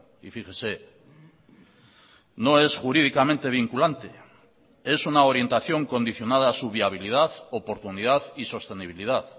y fíjese no es jurídicamente vinculante es una orientación condicionada a su viabilidad oportunidad y sostenibilidad